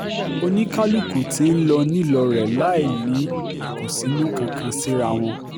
oníkálukú tí ń lọ nílò rẹ̀ láì ní ìkùnsínú kankan síra wọn